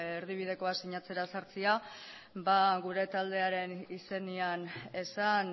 erdibidekoa sinatzera sartzea gure taldearen izenean esan